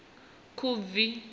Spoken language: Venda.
khubvi